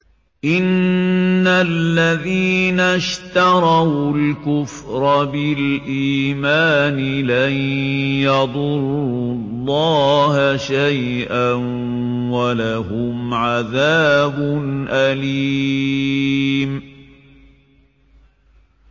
إِنَّ الَّذِينَ اشْتَرَوُا الْكُفْرَ بِالْإِيمَانِ لَن يَضُرُّوا اللَّهَ شَيْئًا وَلَهُمْ عَذَابٌ أَلِيمٌ